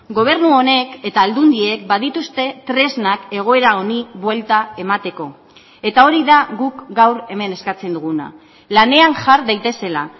gobernu honek eta aldundiek badituzte tresnak egoera honi buelta emateko eta hori da guk gaur hemen eskatzen duguna lanean jar daitezela